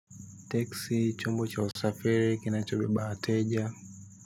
Teksi, chombo cha usafiri, kinachobeba wateja.